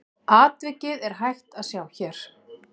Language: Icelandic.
Atvikið er hægt að sjá hér.